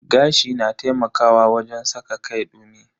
Gashi na taimakawa wajen saka kai dumi.